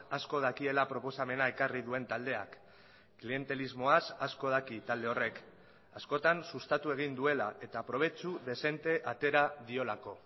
asko dakiela proposamena ekarri duen taldeak klientelismoaz asko daki talde horrek askotan sustatu egin duela eta probetsu dezente atera diolako